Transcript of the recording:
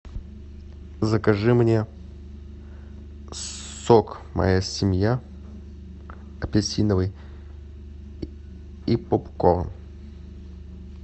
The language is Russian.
закажи мне сок моя семья апельсиновый и поп корн